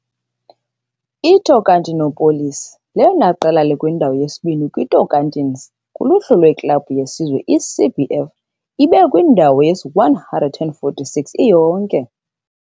I-Tocantinópolis lelona qela likwindawo yesibini kwiTocantins kuluhlu lweklabhu yesizwe yeCBF, ibekwe kwindawo ye-146 iyonke.